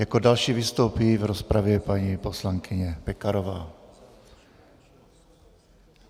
Jako další vystoupí v rozpravě paní poslankyně Pekarová.